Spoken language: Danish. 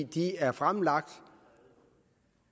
de er fremlagt